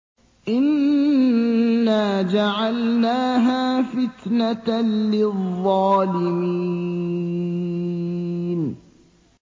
إِنَّا جَعَلْنَاهَا فِتْنَةً لِّلظَّالِمِينَ